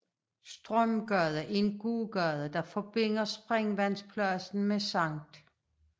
Strømgade er en gågade der forbinder Springvandspladsen med Sct